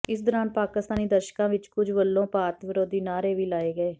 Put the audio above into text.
ਇਸ ਦੌਰਾਨ ਪਾਕਿਸਤਾਨੀ ਦਰਸ਼ਕਾਂ ਵਿਚੋਂ ਕੁੱਝ ਵੱਲੋਂ ਭਾਰਤ ਵਿਰੋਧੀ ਨਾਅਰੇ ਵੀ ਲਾਏ ਗਏ